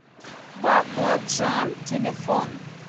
бакладжан телефон